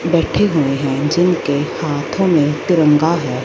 बैठे हुए है जिनके हाथों में तिरंगा है।